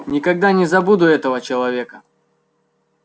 никогда не забуду этого человека